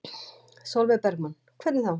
Sólveig Bergmann: Hvernig þá?